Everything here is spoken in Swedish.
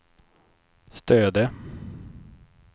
Stöde